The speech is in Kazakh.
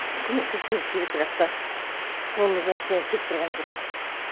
көмектескіміз келеді бірақ та қолымыздан ештеңе келіп тұрған жоқ